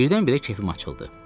Birdən-birə kefim açıldı.